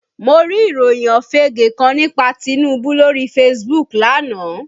Mo rí ìròyìn òfége kan nípa Tinubu lóri Facebook lánàá